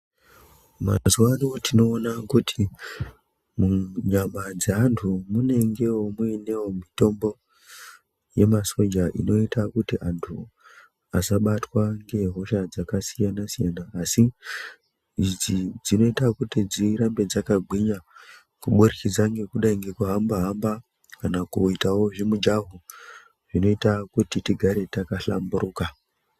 Mazuwa ano tinoona kuti munyama dzeanthu munenge muinewo mitombo yemasoja inoite kuti anthu asabatwa ngehosha dzakasiyana-siyana, asi idzi dzinoita kuti dzirambe dzakagwinya kubudikidze ngekuda ngekuhamba-hamba kana kuitawo zvimijahwo zvinoita kuti tigare takahlamburuka.